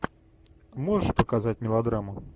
можешь показать мелодраму